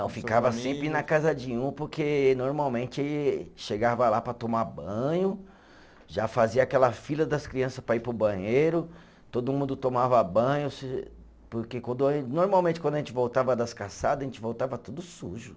ficava sempre na casa de um, porque normalmente chegava lá para tomar banho, já fazia aquela fila das criança para ir para o banheiro, todo mundo tomava banho, se porque quando a, normalmente quando a gente voltava das caçadas, a gente voltava tudo sujo.